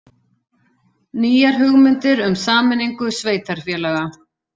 Nýjar hugmyndir um sameiningu sveitarfélaga